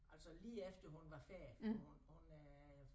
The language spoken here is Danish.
Altså lige efter hun var færdig for hun hun øh